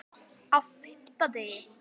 Á FIMMTA DEGI